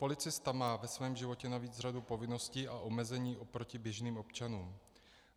Policista má ve svém životě navíc řadu povinností a omezení oproti běžným občanům.